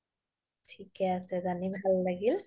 থিকে আছে জানি ভাল লাগিল